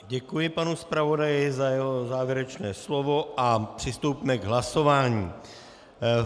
Děkuji panu zpravodaji za jeho závěrečné slovo a přistoupíme k hlasování.